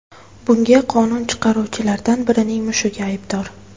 Bunga qonun chiqaruvchilardan birining mushugi aybdor.